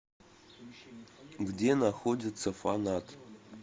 где находится фанат